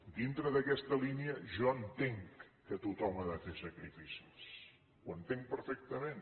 dintre d’aquesta línia jo entenc que tothom ha de fer sacrificis ho entenc perfectament